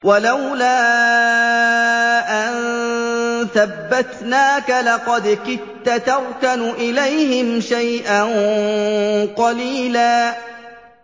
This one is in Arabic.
وَلَوْلَا أَن ثَبَّتْنَاكَ لَقَدْ كِدتَّ تَرْكَنُ إِلَيْهِمْ شَيْئًا قَلِيلًا